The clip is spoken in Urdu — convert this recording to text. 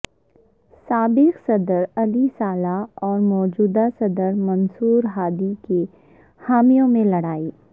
سابق صدر علی صالح اور موجودہ صدر منصورہادی کے حامیوں میں لڑائی